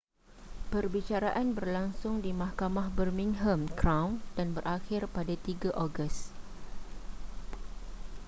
perbicaraan berlangsung di mahkamah birmingham crown dan berakhir pada 3 ogos